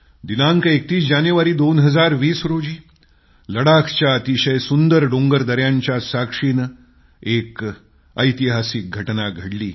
दिनांक 31 जानेवारी 2020 रोजी लडाखच्या अतिशय सुंदर डोंगर दयांच्या साक्षीनं एक ऐतिहासिक घटना घडली